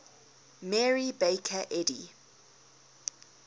mary baker eddy